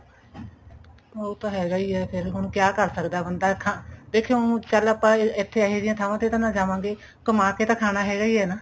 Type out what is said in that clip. ਉਹ ਤਾਂ ਹੈਗਾ ਹੀ ਆ ਫ਼ੇਰ ਹੁਣ ਕਿਆ ਕਰ ਸਕਦਾ ਬੰਦਾ ਦੇਖੋ ਹੁਣ ਚਲ ਆਪਾਂ ਇੱਥੇ ਇਹੋ ਜਿਹੀ ਥਾਵਾਂ ਤੇ ਨਾ ਜਾਵਾਂਗੇ ਕਮਾ ਕੇ ਤਾਂ ਖਾਣਾ ਹੈਗਾ ਹੀ ਆ